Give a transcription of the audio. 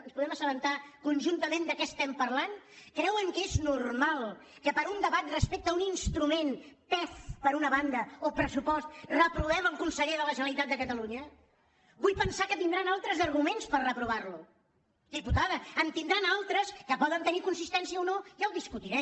ens podem assabentar conjuntament de què estem parlant creuen que és normal que per un debat respecte a un instrument pef per una banda o pressupost reprovem el conseller de la generalitat de la generalitat vull pensar que tindran altres arguments per reprovarlo diputada en tindran altres que poden tenir consistència o no ja ho discutirem